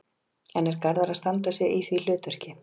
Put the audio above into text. En er Garðar að standa sig í því hlutverki?